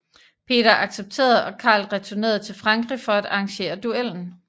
Peter accepterede og Karl returnerede til Frankrig for at arrangere duellen